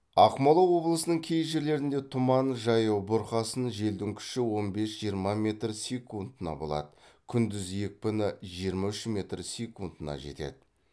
ақмола облысының кей жерлерінде тұман жаяу бұрқасын желдің күші он бес жиырма метр секундына болады күндіз екпіні жиырма үш метр секундына жетеді